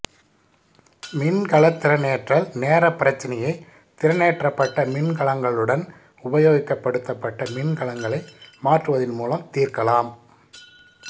மின்கலத் திறனேற்றல் நேரப் பிரச்சினையை திறனேற்றப்பட்ட மின்கலங்களுடன் உபயோகப் படுத்தப்பட்ட மின்கலங்களை மாற்றுவதன் மூலம் தீர்க்கலாம்